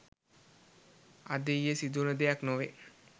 අද ඊයේ සිදුවන දෙයක් නොවේ